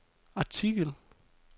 artikel